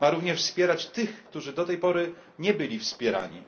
Ma również wspierać tych, którzy do tej pory nie byli wspierani.